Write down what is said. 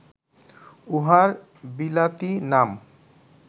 উহার বিলাতী নাম